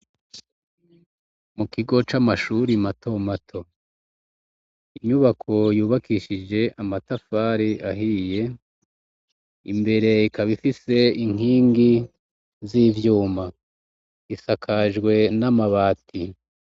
Mu kigo c'amashuri mato mato, inyubako yubakishije amatafari ahiye ,imbere ikaba ifise inkingi z'ivyuma. Isakajwe n'amabati.